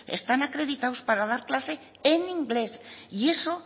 están acreditados para dar clase en inglés y eso